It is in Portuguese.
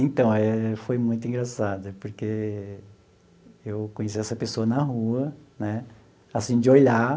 Então eh, foi muito engraçado, porque eu conheci essa pessoa na rua, né, assim, de olhar e...